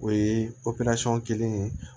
O ye kelen ye